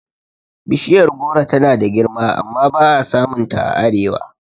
Bishiyar goro tana da girma amma ba'a samun ta a arewa